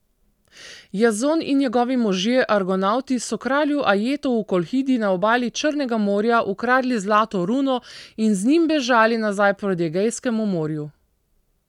Jazon in njegovi možje argonavti so kralju Ajetu v Kolhidi na obali Črnega morja ukradli zlato runo in z njim bežali nazaj proti Egejskemu morju.